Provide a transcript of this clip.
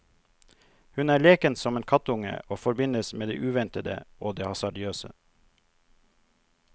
Hun er leken som en kattunge og forbindes med det uventede og det hasardiøse.